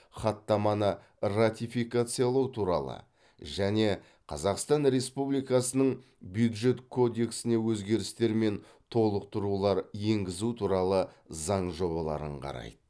хаттаманы ратификациялау туралы және қазақстан республикасының бюджет кодексіне өзгерістер мен толықтырулар енгізу туралы заң жобаларын қарайды